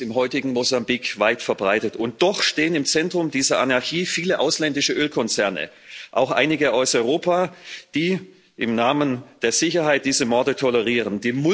All das ist im heutigen Mosambik weit verbreitet, und doch stehen im Zentrum dieser Anarchie viele ausländische Ölkonzerne, auch einige aus Europa, die im Namen der Sicherheit diese Morde tolerieren.